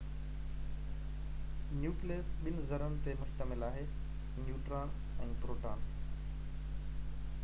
nucleus ٻن ذرن تي مشتمل آهي نيوٽران ۽ پروٽان